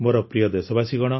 ମୋର ପ୍ରିୟ ଦେଶବାସୀ